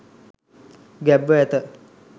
ගැබ්ව ඇත.